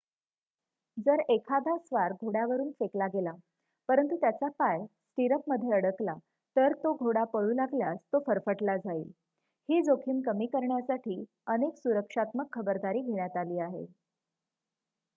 जर एखादा स्वार घोड्यावरुन फेकला गेला परंतु त्याचा पाय स्टिरअपमध्ये अडकला तर तो घोडा पळू लागल्यास तो फरफटला जाईल ही जोखीम कमी करण्यासाठी अनेक सुरक्षात्मक खबरदारी घेण्यात आली आहे